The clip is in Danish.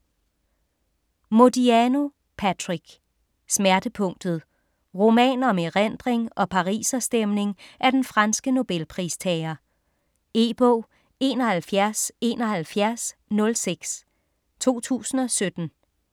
Modiano, Patrick: Smertepunktet Roman om erindring og pariserstemning af den franske Nobelpristager. E-bog 717106 2017.